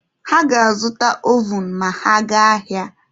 Ha ga-azụta ovun ma ha gaa ahịa.